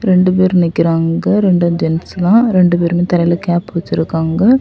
ரெண்டு பேரு நிக்கிறாங்க இரண்டு ஜென்ஸ் தா ரெண்டு பேருமே தலையில கேப் வெச்சிருக்காங்க.